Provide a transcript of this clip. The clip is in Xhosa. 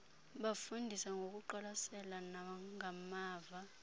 bafunda ngokuqwalasela nangamava